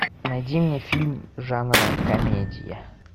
найди мне фильм жанра комедия